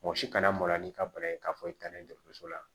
Mɔgɔ si kana mɔgɔ la n'i ka bana ye k'a fɔ i taalen dɔgɔtɔrɔso la